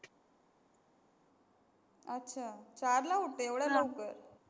अच्छा, चार ला उठते एवढ्या लवकर?